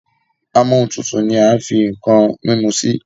Amóhuntutù ní a fí nkán mímú sí